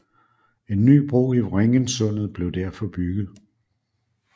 En ny bro i Vrengensundet blev derfor bygget